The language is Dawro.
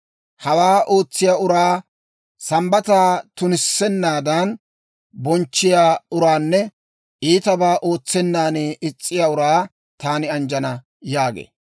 Hawaa ootsiyaa uraa, Sambbataa tunissennaadan bonchchiyaa uraanne iitabaa ootsennan is's'iyaa uraa taani anjjana» yaagee.